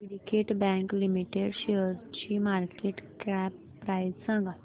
Syndicate bank limited शेअरची market cap price सांगा